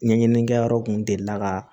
Ɲɛɲinini kɛ yɔrɔ kun delila ka